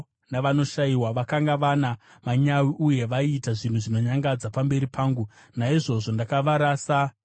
Vakanga vana manyawi uye vaiita zvinhu zvinonyangadza pamberi pangu. Naizvozvo ndakavarasa sezvamunoona.